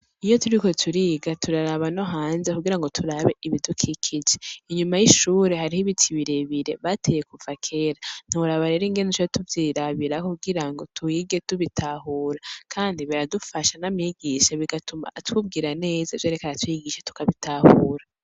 Iyo turiko turiga turaraba no hanze kugirango turabe ibidukikije. Inyuma y' ishure harico ibintu birebire bateye kuva kera. Ntiworaba rero ingene duca tuvyirabiraho kugirango twige tubitahura kandi biradufasha na mwigisha bigatuma atubwira neza ivyo ariko aratwigisha tukabitahura.